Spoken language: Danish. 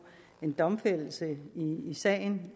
en domfældelse i sagen